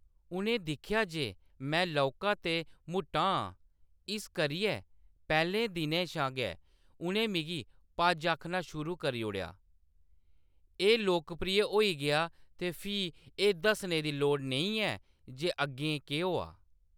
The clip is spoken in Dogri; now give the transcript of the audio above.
उʼनें दिक्खेआ जे में लौह्‌‌‌का ते मुट्टा आं, इस करियै पैह्‌‌‌ले दिनै शा गै उʼनें मिगी 'पज' आखना शुरू करी ओड़ेआ। एह्‌‌ लोकप्रिय होई गेआ, ते फ्ही एह्‌‌ दस्सने दी लोड़ नेईं ऐ जे अग्गें केह्‌‌ होआ।